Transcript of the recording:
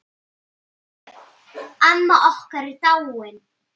Sjöfn, amma okkar, er dáin.